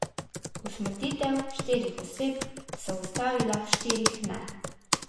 Usmrtitev štirih oseb so ustavila, štirih ne.